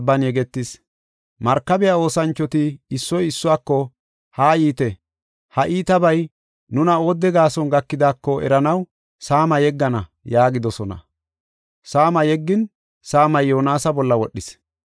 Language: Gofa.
Markabiya oosanchoti issoy issuwako, “Haa yiite, ha iitabay nuna oodde gaason gakidaako eranaw saama yeggana” yaagidosona. Saama yeggin, saamay Yoonasa bolla wodhis.